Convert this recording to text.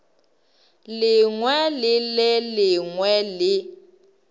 lengwe le le lengwe le